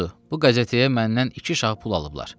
Budur, bu qəzetəyə məndən iki şah pul alıblar.